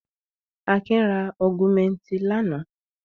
Akin ra Augumentin lánàá.